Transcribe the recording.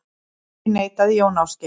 Því neitaði Jón Ásgeir.